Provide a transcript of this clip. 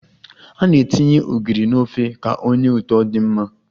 A na-etinye ogiri n'ofe ka o nye ụtọ di mma